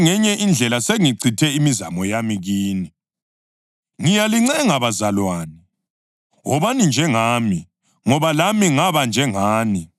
Ngiyalincenga bazalwane, wobani njengami, ngoba lami ngaba njengani. Kalingenzelanga lutho olubi.